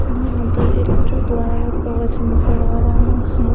यहाँ पर एक गुरुद्वारा में कवच नज़र आ रहा है।